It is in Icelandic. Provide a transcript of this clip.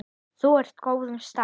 Þú ert á góðum stað.